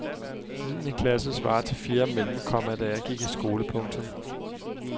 Niende klasse svarer til fjerde mellem, komma da jeg gik i skole. punktum